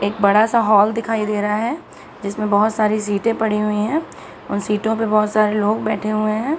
एक बड़ा सा हॉल दिखाई दे रहा है जिसमें बहुत सारी सीटे पड़ी हुई है उन सीटों पे बहुत सारे लोग बैठे हुए हैं ।